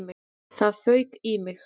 Það fauk í mig.